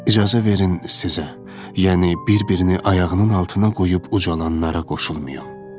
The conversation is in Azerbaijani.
İcazə verin sizə, yəni bir-birini ayağının altına qoyub ucalanlara qoşulmayım.